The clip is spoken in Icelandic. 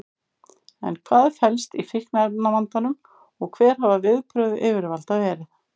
En hvað felst í fíkniefnavandanum og hver hafa viðbrögð yfirvalda verið?